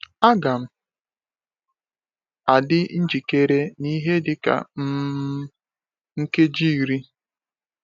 “Aga m adị njikere n’ihe dị ka um nkeji iri.”